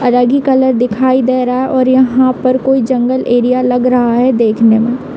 अलग ही कलर दिखाई दे रहा है और यहाँ पर कोई जंगल एरिया लग रहा यही देखने में।